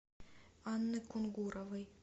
анны кунгуровой